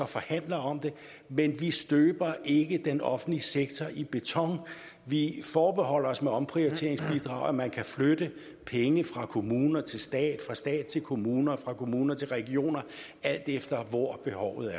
forhandler om det men vi støber ikke den offentlige sektor i beton vi forbeholder os med omprioriteringsbidraget at man kan flytte penge fra kommuner til stat fra stat til kommuner fra kommuner til regioner alt efter hvor behovet